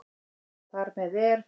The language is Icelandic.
Þar með er